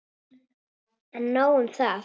En nóg um það.